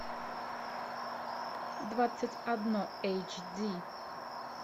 двадцать одно эйч ди